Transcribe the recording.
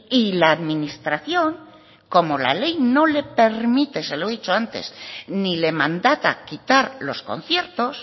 y la administración como la ley no le permite se lo he dicho antes ni le mandata quitar los conciertos